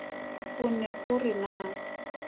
o ne o re na